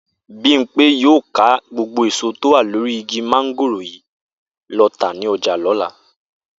Bímpé yóò ká gbogbo èso tó wà lórí igi mo̩ngòrò yìí lo̩ tà ní o̩jà ló̩la